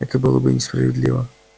это было бы несправедливо